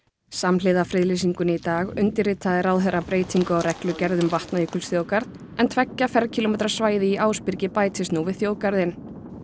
samhliða friðlýsingunni í dag undirritaði ráðherra breytingu á reglugerð um Vatnajökulsþjóðgarð en tveggja ferkílómetra svæði í Ásbyrgi bætist nú við þjóðgarðinn